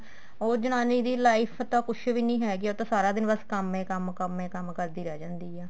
ਉਹ ਜਨਾਨੀ ਦੀ life ਤਾਂ ਕੁੱਝ ਵੀ ਨਹੀਂ ਹੈਗੀ ਉਹ ਤਾਂ ਸਾਰਾ ਦਿਨ ਬੱਸ ਕੰਮ ਹੀ ਕੰਮ ਕੰਮ ਹੀ ਕੰਮ ਕਰਦੀ ਰਹਿ ਜਾਂਦੀ ਏ